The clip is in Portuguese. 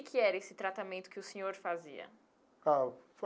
Que que era esse tratamento que o senhor fazia? Ah.